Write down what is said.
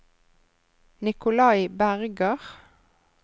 Nikolai Berger